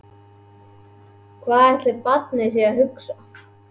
Hvað ætli barnið sé að hugsa?